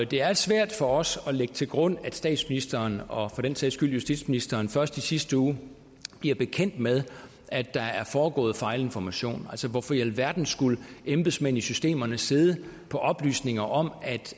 det er svært for os at lægge til grund at statsministeren og for den sags skyld justitsministeren først i sidste uge bliver bekendt med at der er foregået fejlinformation altså hvorfor i alverden skulle embedsmænd i systemerne sidde på oplysninger om